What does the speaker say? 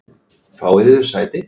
Fáið yður sæti.